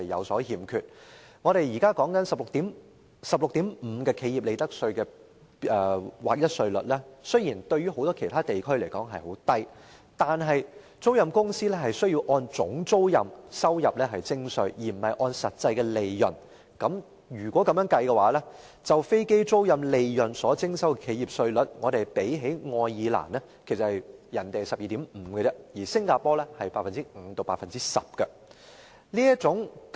雖然，我們現時 16.5% 的企業利得稅劃一稅率較許多其他地區為低，但租賃公司是按總租賃收入而非實際利潤徵稅，如此的話，本港就飛機租賃利潤所徵收企業稅的稅率較愛爾蘭的 12.5% 及新加坡的 5% 至 10% 為高。